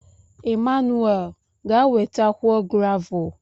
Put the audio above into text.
Emmanuwel, ga wetakwuo gravul.